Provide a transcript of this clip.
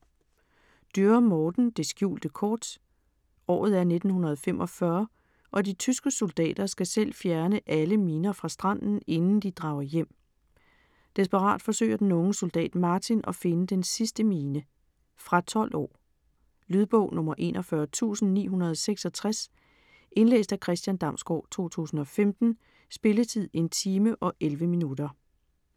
Dürr, Morten: Det skjulte kort Året er 1945 og de tyske soldater skal selv fjerne alle miner fra stranden inden de drager hjem. Desperat forsøger den unge soldat Martin at finde den sidste mine. Fra 12 år. Lydbog 41966 Indlæst af Christian Damsgaard, 2015. Spilletid: 1 time, 11 minutter.